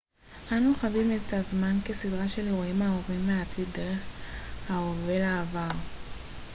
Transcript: אנו חווים את הזמן כסדרה של אירועים העוברים מהעתיד דרך ההווה לעבר